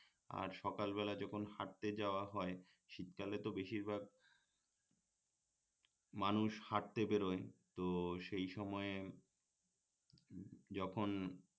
আর সকালবেলা যখন হাটতে যাওয়া হয় শীতকালে তো বেশিরভাগ মানুষ হাটতে বের হয় তো সেই সময়ে যখন